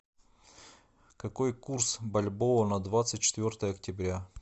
какой курс бальбоа на двадцать четвертое октября